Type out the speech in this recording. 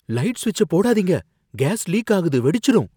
Light சுவிட்சைப் போடாதீங்க. Gas leak ஆகுது, வெடிச்சிடும்.